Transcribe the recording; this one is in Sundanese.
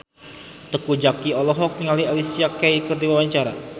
Teuku Zacky olohok ningali Alicia Keys keur diwawancara